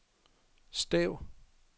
stav